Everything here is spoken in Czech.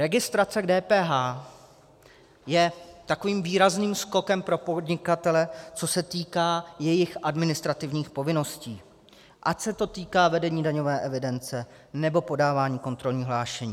Registrace k DPH je takovým výrazným skokem pro podnikatele, co se týká jejich administrativních povinností, ať se to týká vedení daňové evidence, nebo podávání kontrolního hlášení.